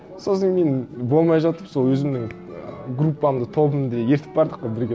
сосын мен болмай жатып сол өзімнің группамды тобымды ерітіп бардық қой бірге